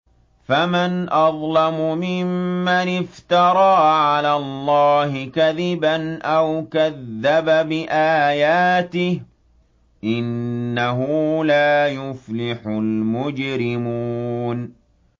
فَمَنْ أَظْلَمُ مِمَّنِ افْتَرَىٰ عَلَى اللَّهِ كَذِبًا أَوْ كَذَّبَ بِآيَاتِهِ ۚ إِنَّهُ لَا يُفْلِحُ الْمُجْرِمُونَ